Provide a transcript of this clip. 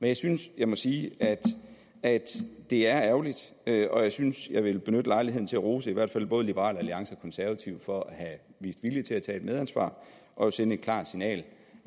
jeg synes jeg må sige at det er ærgerligt og jeg synes jeg vil benytte lejligheden til at rose i hvert fald både liberal alliance og konservative for at have vist vilje til at tage et medansvar og sende et klart signal